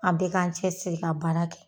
An bɛɛ k'an cɛsiri ka baara kɛ.